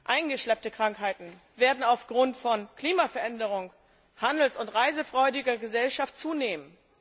Eingeschleppte Krankheiten werden aufgrund von Klimaveränderung sowie durch die handels und reisefreudige Gesellschaft zunehmen.